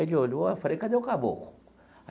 Ele olhou, aí falei, cadê o Caboclo?